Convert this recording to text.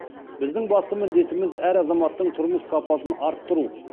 біздің басты міндетіміз әр азаматтың тұрмыс сапасын арттыру